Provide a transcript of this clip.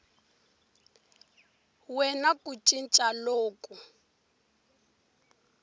we na ku cinca loku